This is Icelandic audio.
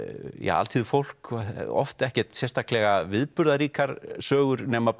alþýðufólk oft ekkert sérstaklega viðburðaríkar sögur nema